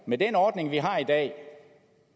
med den ordning vi har i dag